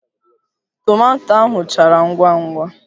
Tomato ahụ chara ngwa ngwa